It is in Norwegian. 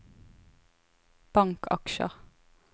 bankaksjer